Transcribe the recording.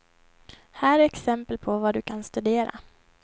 Här är exempel på var du kan studera.